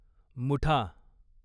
Mutha